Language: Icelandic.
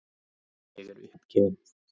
Ég er uppgefin.